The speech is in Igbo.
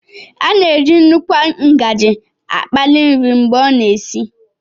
A na-eji nnukwu ngaji akpali nri mgbe ọ na-esi